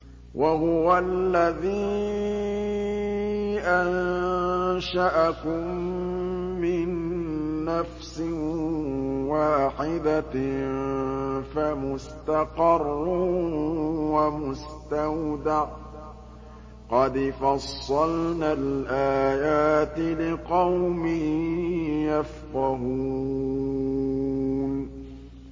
وَهُوَ الَّذِي أَنشَأَكُم مِّن نَّفْسٍ وَاحِدَةٍ فَمُسْتَقَرٌّ وَمُسْتَوْدَعٌ ۗ قَدْ فَصَّلْنَا الْآيَاتِ لِقَوْمٍ يَفْقَهُونَ